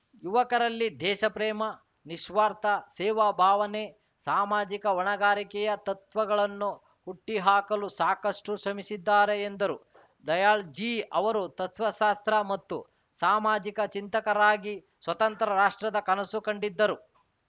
ಯುವಕರಲ್ಲಿ ದೇಶಪ್ರೇಮ ನಿಸ್ವಾರ್ಥ ಸೇವಾ ಭಾವನೆ ಸಾಮಾಜಿಕ ಹೊಣೆಗಾರಿಕೆಯ ತತ್ವಗಳನ್ನು ಹುಟ್ಟಿಹಾಕಲು ಸಾಕಷ್ಟುಶ್ರಮಿಸಿದ್ದಾರೆ ಎಂದರು ದಯಾಳ್‌ಜೀ ಅವರು ತತ್ವಶಾಸ್ತ್ರ ಮತ್ತು ಸಾಮಾಜಿಕ ಚಿಂತಕರಾಗಿ ಸ್ವತಂತ್ರ ರಾಷ್ಟ್ರದ ಕನಸು ಕಂಡಿದ್ದರು